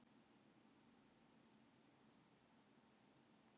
Sem dæmi eru sléttu tölurnar teljanlega margar, en rauntölurnar eru óteljanlega margar.